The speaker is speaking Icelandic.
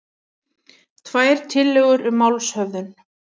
Tvær tillögur um málshöfðun